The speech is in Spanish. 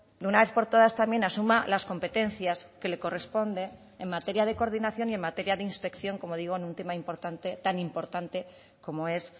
de una vez por todas también asuma las competencias que le corresponde en materia de coordinación y en materia de inspección como digo en un tema importante tan importante como es